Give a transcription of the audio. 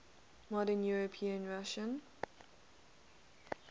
modern european russia